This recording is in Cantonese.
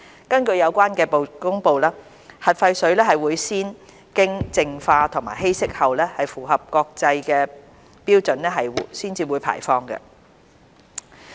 根據有關的公布，核廢水會先經淨化和稀釋後，符合相關國際標準才會排放。